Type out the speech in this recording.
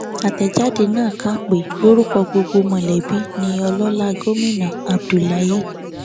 àtẹjáde náà kà pé lórúkọ gbogbo mọlẹbí ni ọlọlá gómìnà abdullahi a